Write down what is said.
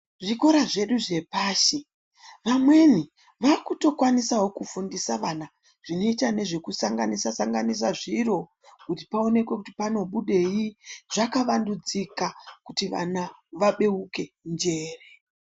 Zvikora zvedu zvepashi amweni vakukwanisawo kufundisa vana zvinoita nezvekusanganisa sanganisa zviro kuti paonekwe kuti panobudei, zvakavandudzika kuti vana vabeuke njere.